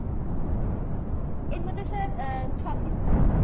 এর মধ্যে sir আহ ছ piece থাকবে।